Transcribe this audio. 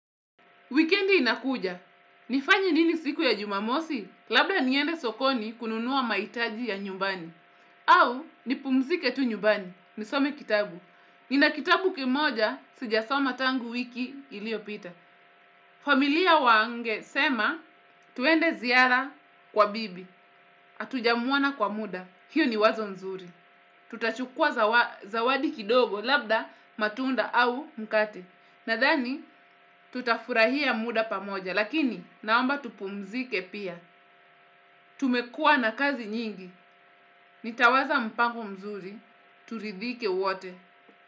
Wikendi inakuja. Nifanye nini siku ya jumamosi? Labda niende sokoni kununua mahitaji ya nyumbani. Au, nipumzike tu nyumbani. Nisome kitabu. Nina kitabu kimoja sijasoma tangu wiki iliopita. Familia wangesema, tuende ziara kwa bibi. Atujamuona kwa muda. Hio ni wazo mzuri. Tutachukua zawadi kidogo labda matunda au mkate. Nadhani tutafurahia muda pamoja. Lakini naomba tupumzike pia. Tumekua na kazi nyingi. Nitawaza mpango mzuri. Turidhike wote.